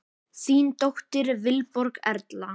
Þín dóttir, Vilborg Erla.